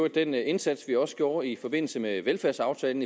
den indsats vi også gjorde i forbindelse med velfærdsaftalen